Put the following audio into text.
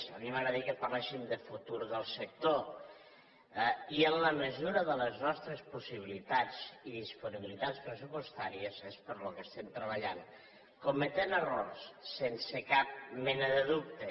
a mi m’agradaria que em parlessin del futur del sector i en la mesura de les nostres possibilitats i disponibilitats pressupostàries és pel que estem treballant cometent errors sense cap mena dubte